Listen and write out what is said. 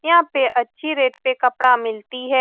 यहाँ पे अच्छी रेट पे कपड़ा मिलती है।